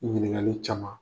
Ɲininkaliw caman.